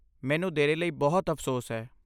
ਮੈਨੂੰ ਦੇਰੀ ਲਈ ਬਹੁਤ ਅਫ਼ਸੋਸ ਹੈ।